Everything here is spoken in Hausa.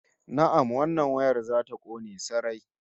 Na'am, wannan wayar za ta kone sarai